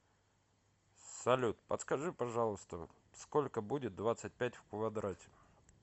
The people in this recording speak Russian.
салют подскажи пожалуйста сколько будет двадцать пять в квадрате